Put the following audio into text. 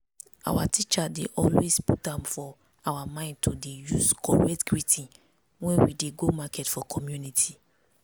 our teacher dey always put am for our mind to dey use correct greeting when we dey go market for community.